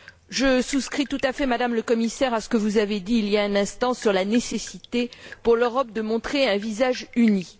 Je souscris tout à fait, Madame la Commissaire, à ce que vous avez dit il y a un instant sur la nécessité, pour l'Europe, de montrer un visage uni.